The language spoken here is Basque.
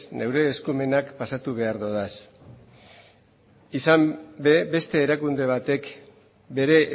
nire eskumenak pasatu behar dodaz izan ere beste erakunde batek bere